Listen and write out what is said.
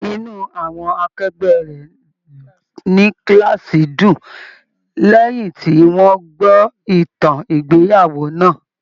Inú àwọn akẹgbẹ rẹ ní kilaasi dùn lẹyìn tí wọn gbọ ìtàn ìgbéyàwó náà.